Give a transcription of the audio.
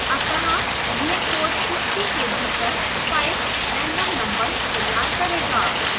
अतः यह code 50 के भीतर 5 random numbers तैयार करेगा